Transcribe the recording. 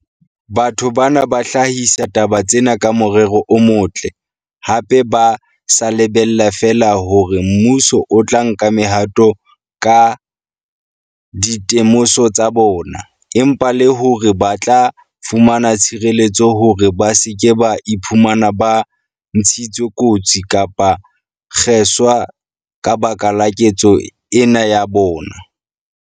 Batho bana ba hlahisa taba tsena ka morero o motle, hape ba sa lebella feela hore mmuso o tla nka mehato ka dite moso tsa bona, empa le hore ba tla fumana tshireletso hore ba se ke ba iphumana ba ntshitswe kotsi kapa ba kgeswa ka baka la ketso ena ya bona.